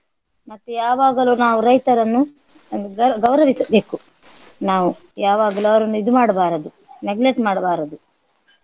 ಮತ್ತೆ ಯಾವಾಗಲು ನಾವು ರೈತರನ್ನು ಗರ್~ ಗೌರವಿಸಬೇಕು ನಾವು ಯಾವಾಗಲು ಅವರನ್ನು ಇದು ಮಾಡ್ಬಾರದು neglect ಮಾಡಬಾರದು.